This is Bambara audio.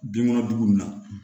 Binkɔnɔna jugu na